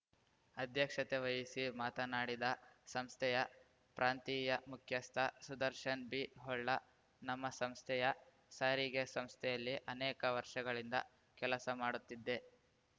ಅಧ್ಯಕ್ಷತೆ ವಹಿಸಿ ಮಾತನಾಡಿದ ಸಂಸ್ಥೆಯ ಪ್ರಾಂತಿಯ ಮುಖ್ಯಸ್ಥ ಸುದರ್ಶನ್‌ ಬಿ ಹೊಳ್ಳ ನಮ್ಮ ಸಂಸ್ಥೆಯ ಸಾರಿಗೆ ಸಂಸ್ಥೆಯಲ್ಲಿ ಅನೇಕ ವರ್ಷಗಳಿಂದ ಕೆಲಸ ಮಾಡುತ್ತಿದೆ